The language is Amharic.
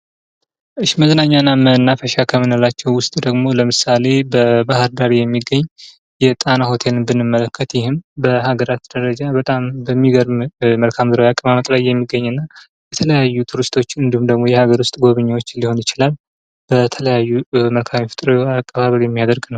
መዝናኛና መናፈሻ ከምንላቸው ውስጥ ደግሞ አሁን ለምሳሌ በባህር ዳር የሚገኝ የጣና ሆቴልን ብንመለከት በሀገራት ደረጃ በጣም በሚገርም መልካም ምድራዊ አቀመጥ ላይ የሚገኝና የተለያዩ ቱሪስቶችን ወይም የሀገር ውስጥ ጎብኚዎችን ሊሆን ይችላል የተለያዩ አቀባበል የሚያደርግ ነው።